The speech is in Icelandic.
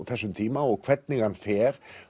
þessum tíma og hvernig hann fer